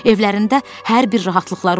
Evlərində hər bir rahatlıqları olsun.